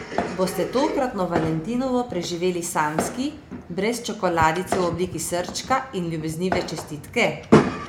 Boste tokratno Valentinovo preživeli samski, brez čokoladice v obliki srčka in ljubeznive čestitke?